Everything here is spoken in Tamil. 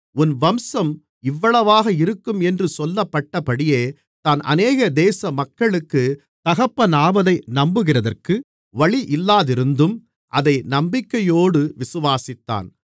உன் வம்சம் இவ்வளவாக இருக்கும் என்று சொல்லப்பட்டபடியே தான் அநேக தேசமக்களுக்கு தகப்பனாவதை நம்புகிறதற்கு வழியில்லாதிருந்தும் அதை நம்பிக்கையோடு விசுவாசித்தான்